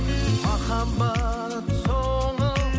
махаббат солып